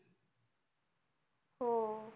हो.